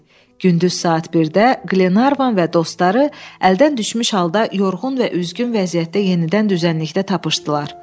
Gündüz saat 1-də Qlenarvan və dostları əldən düşmüş halda yorğun və üzgün vəziyyətdə yenidən düzənlikdə tapılmışdılar.